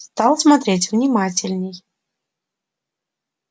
стал смотреть внимательней